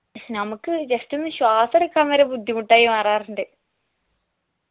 നമുക്ക് just ഒന്ന് ശ്വാസെടുക്കാൻ വരെ ബുദ്ധിമുട്ടായി മാറാറുണ്ട്